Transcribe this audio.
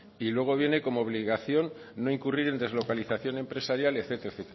y luego viene como obligación no incurrir en deslocalización empresarial etcétera